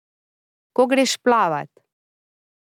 Ko greš plavat.